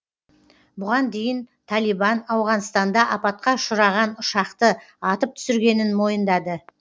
бұған дейін талибан ауғанстанда апатқа ұшыраған ұшақты атып түсіргенін мойындады